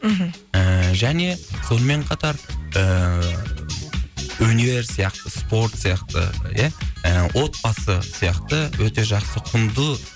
мхм ііі және сонымен қатар ііі өнер сияқты спорт сияқты ия отбасы сияқты өте жақсы құнды